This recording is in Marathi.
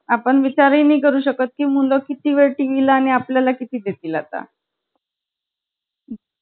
अगं ते कसं गं, नंतर मग मी सांगते काय हळू हळू जसं पाचवी, सहावी, सातवी जाईल लागलो ना, तसं तसं पुस्तकं वाढायला लागली, परत ते sir वेग वेगळे sir वर्गात येईला लागले, कंटाळा येतो ना असा.